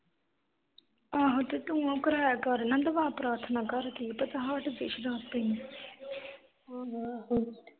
ਆਹੋ ਤੂੰ ਫਿਰ ਉਹ ਕਰਾਇਆ ਕਰ ਨਾ ਦੁਆ ਪ੍ਰਾਥਨਾ ਘਰ ਦੀ ਕੀ ਪਤਾ ਹਟ ਜਾਵੇ ਸ਼ਰਾਬ ਪੀਣ ਤੋਂ